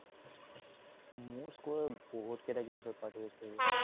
মোৰ school ত বহুত কেইটা games ত participate কৰিলো।